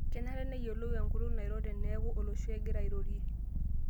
Kenare neyiolou enkutuk nairo tenekuu olosho egira airorie